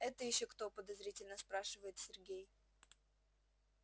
это ещё кто подозрительно спрашивает сергей